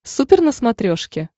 супер на смотрешке